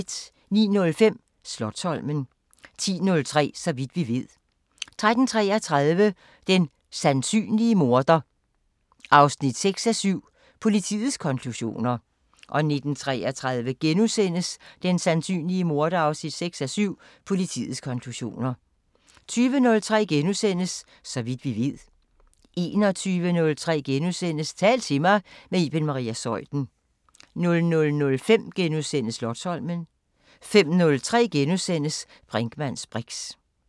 09:05: Slotsholmen 10:03: Så vidt vi ved 13:33: Den sandsynlige morder 6:7 – Politiets konklusioner 19:33: Den sandsynlige morder 6:7 – Politiets konklusioner * 20:03: Så vidt vi ved * 21:03: Tal til mig – med Iben Maria Zeuthen * 00:05: Slotsholmen * 05:03: Brinkmanns briks *